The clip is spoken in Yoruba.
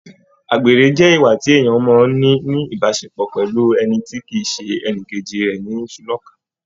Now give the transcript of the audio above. Àgbèrè jẹ ìwà èyí tí èèyàn mọ n ni ìbáṣepọ̀ pẹlú ẹni tí kìí ṣe ẹnìkejì rẹ nisulọ̀ka.